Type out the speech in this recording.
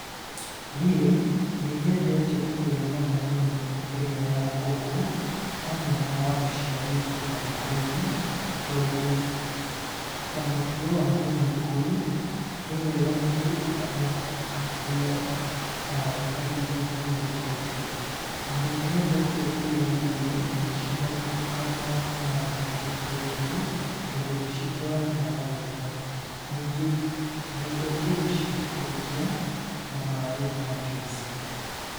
Niĩ nĩ nyendete kũrĩa nyama mũno mũno ĩrĩa ya ngũkũ, hamwe na waru cia gũikia maguta-inĩ, tondũ ta mũtugo wa mũgĩkũyũ nĩ wega mũndũ akoragwo akĩrĩa waru kahinda kaingĩ kaingĩ. Na nĩ nyendete kũrĩanĩria indo ici na mũtukano wa nyanya na gĩtũngũrũ, tondũ nĩ citwaranaga wega. Ningĩ nyendete gũciikũrũkia na maaĩ ma njuici.